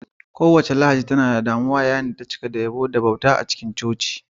Kowace Lahadi tana da damuwa yayin da ta cika da yabo da bauta a cikin coci duk rana.